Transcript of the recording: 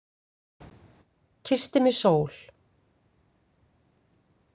Kyssti mig sól.